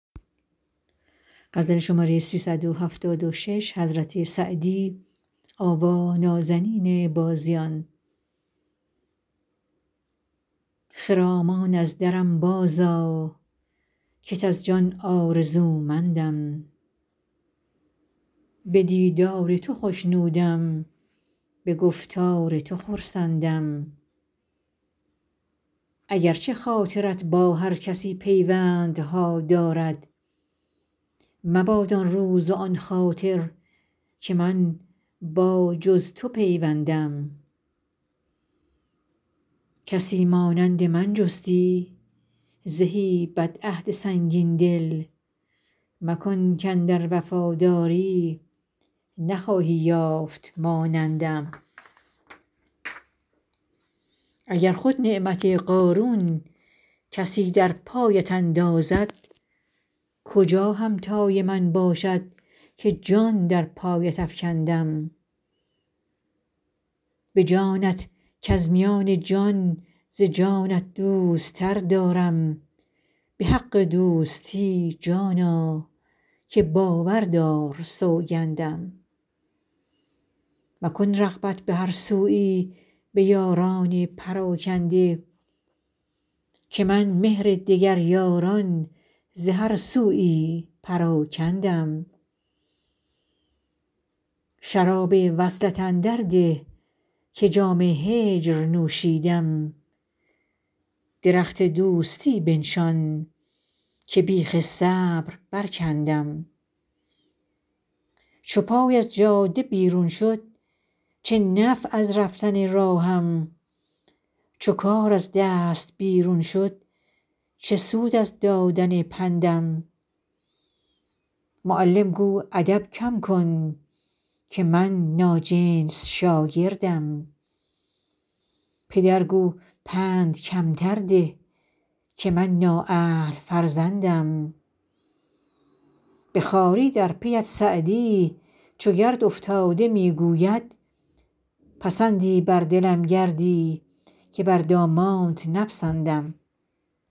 خرامان از درم بازآ کت از جان آرزومندم به دیدار تو خوشنودم به گفتار تو خرسندم اگر چه خاطرت با هر کسی پیوندها دارد مباد آن روز و آن خاطر که من با جز تو پیوندم کسی مانند من جستی زهی بدعهد سنگین دل مکن کاندر وفاداری نخواهی یافت مانندم اگر خود نعمت قارون کسی در پایت اندازد کجا همتای من باشد که جان در پایت افکندم به جانت کز میان جان ز جانت دوست تر دارم به حق دوستی جانا که باور دار سوگندم مکن رغبت به هر سویی به یاران پراکنده که من مهر دگر یاران ز هر سویی پراکندم شراب وصلت اندر ده که جام هجر نوشیدم درخت دوستی بنشان که بیخ صبر برکندم چو پای از جاده بیرون شد چه نفع از رفتن راهم چو کار از دست بیرون شد چه سود از دادن پندم معلم گو ادب کم کن که من ناجنس شاگردم پدر گو پند کمتر ده که من نااهل فرزندم به خواری در پی ات سعدی چو گرد افتاده می گوید پسندی بر دلم گردی که بر دامانت نپسندم